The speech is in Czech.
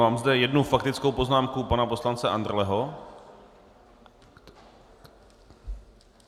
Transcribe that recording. Mám zde jednu faktickou poznámku pana poslance Andrleho.